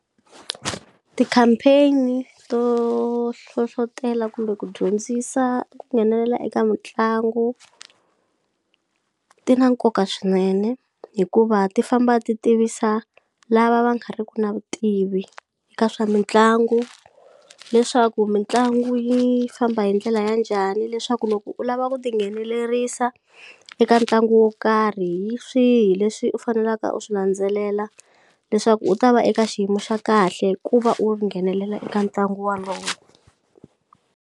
Ti-campaign-i to hlohlotela kumbe ku dyondzisa ku nghenelela eka mitlangu ti na nkoka swinene hikuva ti famba ti tivisa lava va nga ri ku na vutivi ka swa mitlangu leswaku mitlangu yi famba hi ndlela ya njhani leswaku loko u lava ku tinghenelerisa eka ntlangu wo karhi hi swihi leswi u faneleka u swi landzelela leswaku u ta va eka xiyimo xa kahle ku va u nghenelela eka ntlangu walowo.